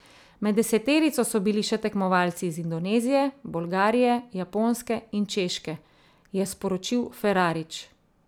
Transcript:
Med deseterico so bili še tekmovalci iz Indonezije, Bolgarije, Japonske in Češke, je sporočil Ferarič.